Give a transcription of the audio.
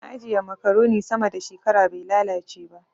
Na ajiye makaroni sama da shekara bai lalace ba.